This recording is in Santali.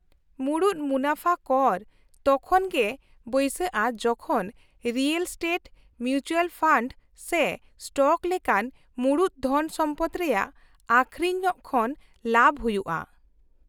-ᱢᱩᱲᱩᱫ ᱢᱩᱱᱟᱹᱯᱷᱟ ᱠᱚᱨ ᱛᱚᱠᱷᱚᱱ ᱜᱮ ᱵᱟᱹᱭᱥᱟᱹᱜᱼᱟ ᱡᱚᱠᱷᱚᱱ ᱨᱤᱭᱮᱞ ᱥᱴᱮᱴ, ᱢᱤᱩᱪᱩᱣᱟᱞ ᱯᱷᱟᱱᱰ ᱥᱮ ᱥᱴᱚᱠ ᱞᱮᱠᱟᱱ ᱢᱩᱲᱩᱫ ᱫᱷᱚᱱ ᱥᱚᱢᱯᱚᱫ ᱨᱮᱭᱟᱜ ᱟᱹᱠᱷᱨᱤᱧ ᱠᱷᱚᱱ ᱞᱟᱵᱷ ᱦᱩᱭᱩᱜᱼᱟ ᱾